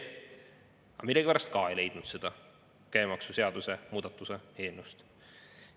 Aga millegipärast ka seda ma ei leidnud käibemaksuseaduse muutmise eelnõust.